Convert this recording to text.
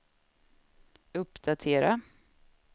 uppdatera